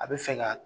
A bɛ fɛ ka